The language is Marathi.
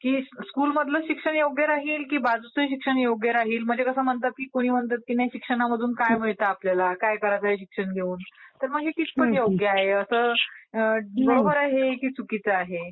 स्कुल मधलं शिक्षण योग्य राहील की बाकीचं शिक्षण योग्य राहील? म्हणजे कुणी म्हणतात की शिक्षणामधून काय मिळतं आपल्याला? काय करायचंय शिक्षण घेऊन? तर मग हे कितपत योग्य आहे असं बरोबर आहे हे की चुकीचं आहे?